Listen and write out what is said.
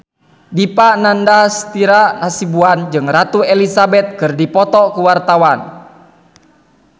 Dipa Nandastyra Hasibuan jeung Ratu Elizabeth keur dipoto ku wartawan